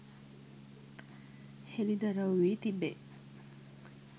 හෙළිදරව් වී තිබේ